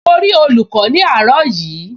Mo rí olùkọ́ ní àárọ̀ yìí